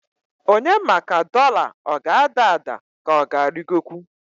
Onye ma ka doḷa ọ g'ada ada k'ọga arịgokwu?